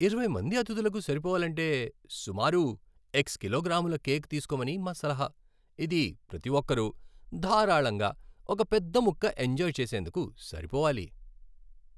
ఇరవై మంది అతిథులకు సరిపోవాలంటే, సుమారు ఎక్స్ కిలోగ్రాముల కేక్ తీస్కోమని మా సలహా. ఇది ప్రతి ఒక్కరూ ధారాళంగా ఒక పెద్ద ముక్క ఎంజాయ్ చేసేందుకు సరిపోవాలి.